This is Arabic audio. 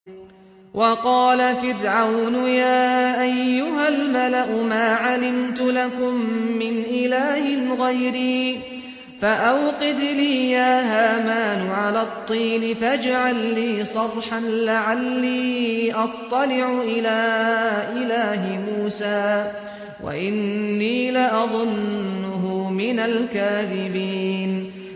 وَقَالَ فِرْعَوْنُ يَا أَيُّهَا الْمَلَأُ مَا عَلِمْتُ لَكُم مِّنْ إِلَٰهٍ غَيْرِي فَأَوْقِدْ لِي يَا هَامَانُ عَلَى الطِّينِ فَاجْعَل لِّي صَرْحًا لَّعَلِّي أَطَّلِعُ إِلَىٰ إِلَٰهِ مُوسَىٰ وَإِنِّي لَأَظُنُّهُ مِنَ الْكَاذِبِينَ